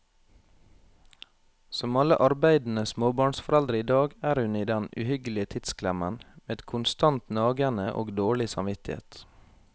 Som alle arbeidende småbarnsforeldre i dag er hun i den uhyggelige tidsklemmen, med konstant nagende og dårlig samvittighet.